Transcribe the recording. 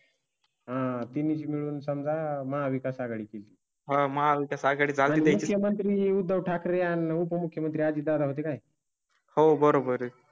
आह तुम्ही म्हणून समजा महाविकास आघाडी तील. हा मागचा सगळा. मंत्री उद्धव ठाकरे आणि उपमुख्यमंत्री अजितदादा होती काय? हो बरोबर आहे.